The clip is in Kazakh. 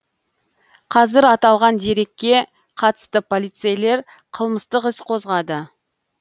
қазір аталған дерекке қатысты полицейлер қылмыстық іс қозғады